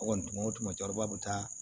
O kɔni o tuma bɛ taa